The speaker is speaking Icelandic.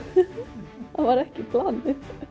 það var ekki planið